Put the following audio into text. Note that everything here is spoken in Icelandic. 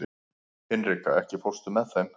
Hinrika, ekki fórstu með þeim?